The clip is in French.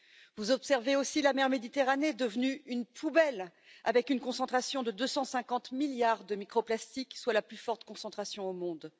Vous observez aussi la mer Méditerranée, devenue une poubelle, avec une concentration de 250 milliards de micro plastiques, soit la plus forte concentration au monde.